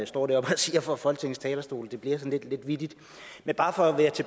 står deroppe og siger fra folketingets talerstol det bliver sådan lidt vittigt man bare for